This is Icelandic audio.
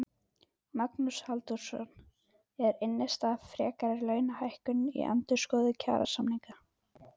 Magnús Halldórsson: Er innstaða fyrir frekari launahækkunum í endurskoðun kjarasamninga?